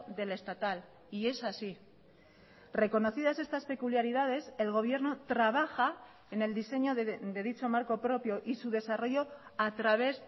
del estatal y es así reconocidas estas peculiaridades el gobierno trabaja en el diseño de dicho marco propio y su desarrollo a través